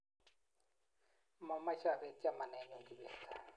mameche abeet chamanenyu Kibet